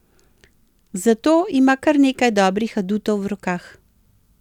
Za to ima kar nekaj dobrih adutov v rokah.